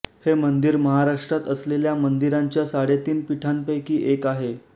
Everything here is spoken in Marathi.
हे मंदिर महाराष्ट्रात असलेल्या मंदिरांच्या साडेतीन पीठांपैकी एक आहे